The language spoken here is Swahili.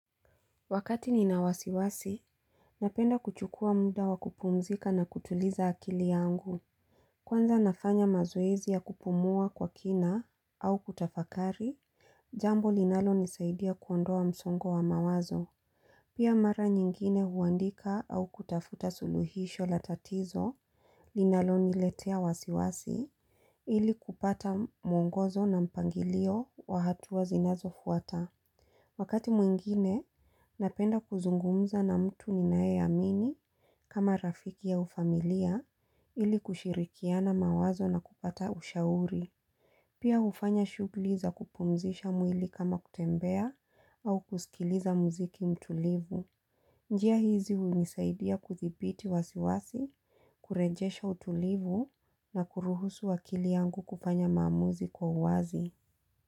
Wakati nina wasiwasi, napenda kuchukua muda wakupumzika na kutuliza akili yangu. Kwanza nafanya mazoezi ya kupumua kwa kina au kutafakari, jambo linalo nisaidia kuondoa msongo wa mawazo. Pia mara nyingine huandika au kutafuta suluhisho latatizo linalo niletea wasiwasi ili kupata muungozo na mpangilio wahatua zinazo fuata. Wakati mwingine, napenda kuzungumza na mtu ni naeamini kama rafiki au familia ili kushirikiana mawazo na kupata ushauri. Pia hufanya shughuli za kupumzisha mwili kama kutembea au kusikiliza muziki mtulivu. Njia hizi hunisaidia kuthibiti wasiwasi, kurejesha utulivu na kuruhusu akili yangu kufanya maamuzi kwa uwazi.